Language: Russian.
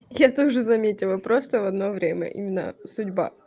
я тоже заметила просто в одно время именно судьба